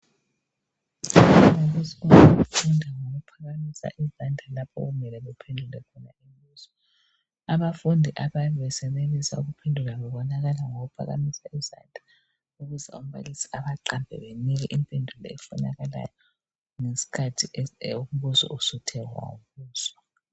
Abantwana besikolo abafunda ngokuphakamisa izandla lapho okumele bephendule khona umbuzo abafundi abayabe besenelisa ukuphendula babonakala ngokuphakamisa isandla ukuze umbalisi ebaqambe benike impendulo efunakalayo ngesikhathi umbuzo usuthe wabuzwa